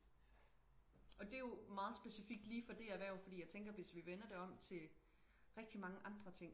Og det jo meget specifikt lige for det erhverv fordi jeg tænker hvis vi vender det om til rigtig mange andre ting